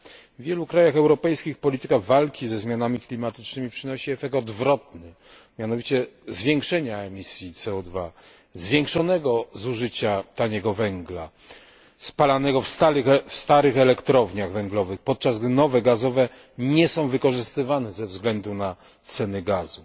W wielu krajach europejskich polityka walki ze zmianami klimatycznymi przynosi efekt odwrotny, mianowicie zwiększenia emisji CO 2 zwiększonego zużycia taniego węgla spalanego w starych elektrowniach węglowych, podczas gdy nowe elektrownie gazowe nie są wykorzystywane ze względu na ceny gazu.